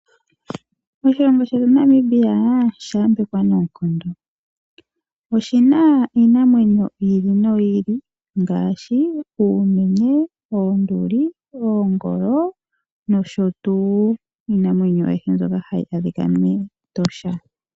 Oshilongo shetu Namibia osha yambekwa noonkondo. Oshi na iinamwenyo yi ili noyi ili ngaashi uumenye, oonduli, oongolo nosho tuu iinamwenyo ayihe mbyoka hayi adhika mEtosha.